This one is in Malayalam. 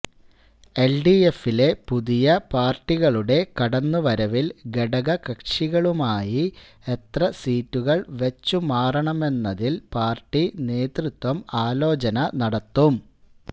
എൽഡിഎഫിലെ പുതിയ പാർട്ടികളുടെ കടന്ന് വരവിൽ ഘടകകക്ഷികളുമായി എത്ര സീറ്റുകൾ വച്ചു മാറണമെന്നതിൽ പാർട്ടി നേതൃത്വം ആലോചന നടത്തും